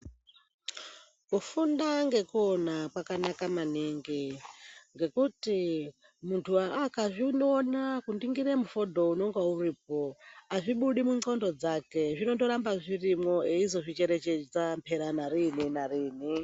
Kufunda ngekuona kwakanaka maningi, ngekuti muntu ena akazviona kuningire mufodho unenga uripo, hazvibudi mundxondo dzake zvinotoramba zviripo eizvicherechedza pera narini narini.